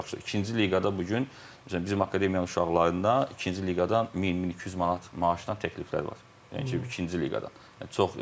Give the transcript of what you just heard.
İkinci liqada bu gün bizim akademiyanın uşaqlarında ikinci liqadan 1000, 1200 manat maaşdan təkliflər var, yəni ki, ikinci liqadan.